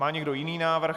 Má někdo jiný návrh?